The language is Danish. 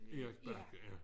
Erik Bakke ja